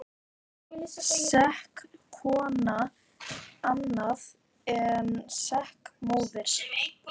Sek kona annað en sek móðir.